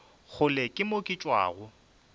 kgole ke mo ke tšwago